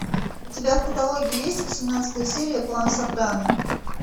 у тебя в каталоге есть восемнадцатая серия клан сопрано